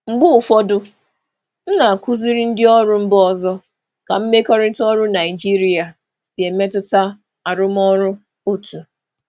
Mgbe ụfọdụ, ana m akụziri ndị njikwa si mba ọzọ ka mmekọrịta um ọrụ um Naịjirịa si um emetụta arụmọrụ otu.